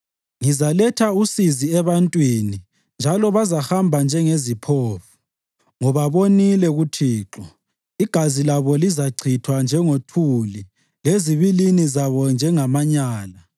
“Ngizaletha usizi ebantwini njalo bazahamba njengeziphofu, ngoba bonile kuThixo. Igazi labo lizachithwa njengothuli lezibilini zabo njengamanyala.